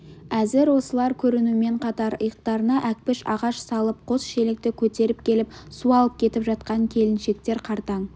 әзір осылар көрінумен қатар иықтарына әкпіш ағаш салып қос шелекті көтеріп келіп су алып кетіп жатқан келіншектер қартаң